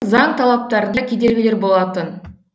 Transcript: заң талаптарында кедергілер болатын